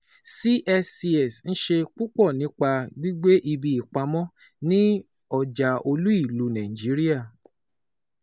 CSCS ń ṣe púpọ̀ nípa gbígbé ibi ìpamọ́ ní Ọjà Olú-ìlú Nàìjíríà.